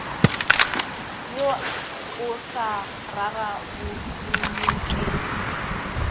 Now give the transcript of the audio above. wo o sa rarabololwe ke